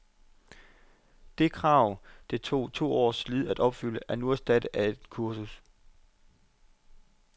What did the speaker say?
Det krav, det tog to års slid at opfylde, er nu erstattet af et kursus.